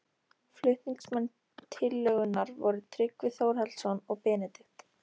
Flutningsmenn tillögunnar voru Tryggvi Þórhallsson og Benedikt